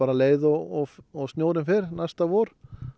leið og og snjórinn fer næsta vor